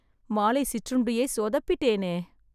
மாலை சிற்றுண்டியை சொதப்பிட்டேனே